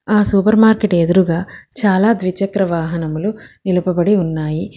ఆ supermarket ఎదురుగా చాలా ద్విచక్ర వాహనములు నిలుపుబడి ఉన్నాయి.